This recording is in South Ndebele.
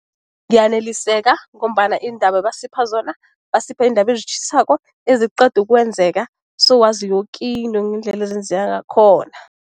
Ngiyaneliseka, ngombana iindaba ebesipha zona basipha iindaba ezitjhisako eziqeda ukwenzeka, sowazi yoke into ngendlela ezenzeka ngakhona.